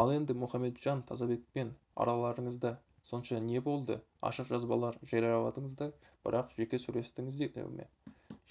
ал енді мұхамеджан тазабекпен араларыңызда сонша не болды ашық жазбалар жарияладыңыздар бірақ жеке сөйлестіңіздер ме